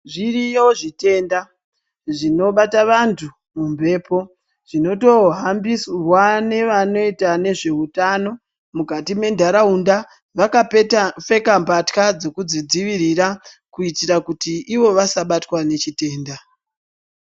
Zviriyo zvitenda zvinobata vantu mumbepo, zvinotohambirwa nevanoita zveutano mukati mentaraunda. Vakapfeka mbatya dzekuzvidzivirira kuitira kuti ivo vasabatwa nechitenda.